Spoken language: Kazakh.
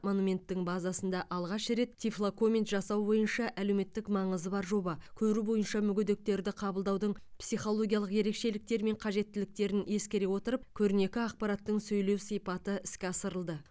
монументтің базасында алғаш рет тифлокоммент жасау бойынша әлеуметтік маңызы бар жоба көру бойынша мүгедектерді қабылдаудың психологиялық ерекшеліктері мен қажеттіліктерін ескере отырып көрнекі ақпараттың сөйлеу сипаты іске асырылды